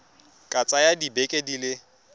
ka tsaya dibeke di le